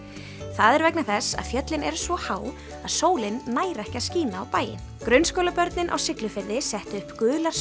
það er vegna þess að fjöllin eru svo há að sólin nær ekki að skína á bæinn grunnskólabörnin á Siglufirði settu upp gular